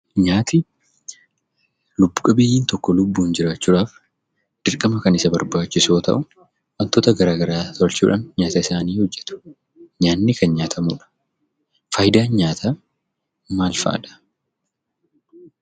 Nyaati lubbu qabeeyyiin tokko lubbuun jiraachuudhaf dirqama kan isa barbaachisu yoo ta'u wantota garaagaraa tolchuudhaan nyaata isaanii hojjetu. Nyaanni kan nyaatamudha. Faayidaan nyaataa maalfaadha?